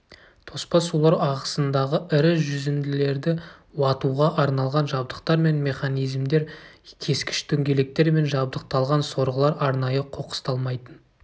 тоспа сулар ағысындағы ірі жүзінділерді уатуға арналған жабдықтар мен механизмдер кескіш дөңгелектермен жабдықталған сорғылар арнайы қоқысталмайтын